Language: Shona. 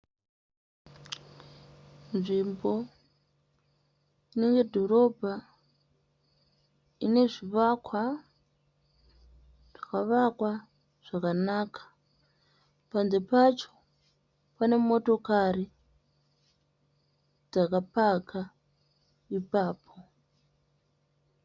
Nzvimbo inenge dhorobha ine zvivakwa zvakavakwa zvakanaka, panze pacho pane motokari dzakapakwa ipapo.